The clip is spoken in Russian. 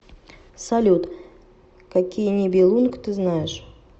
салют какие нибелунг ты знаешь